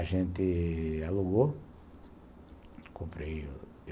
A gente alugou, comprei